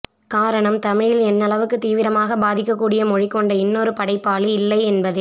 காரணம் தமிழில் என்னளவுக்கு தீவிரமாக பாதிக்கக்கூடிய மொழி கொண்ட இன்னொரு படைப்பாளி இல்லை என்பதே